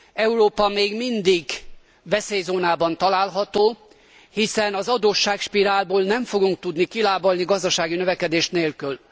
Európa még mindig veszélyzónában található, hiszen az adósságspirálból nem fogunk tudni kilábalni gazdasági növekedés nélkül.